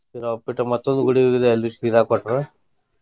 ಶಿರಾ, ಉಪ್ಪಿಟ್ಟು ಮತ್ತೊಂದು ಗುಡಿಗೆ ಹೋಗಿದೆ ಅಲ್ಲು ಶಿರಾ ಕೊಟ್ಟರು.